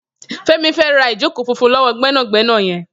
Femi fè rá ijókó fúnfún lọwọ gbẹnágbẹná yèn